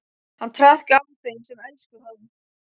Hann traðkaði á þeim sem elskuðu hann.